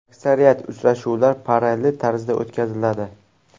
Aksariyat uchrashuvlar parallel tarzda o‘tkaziladi.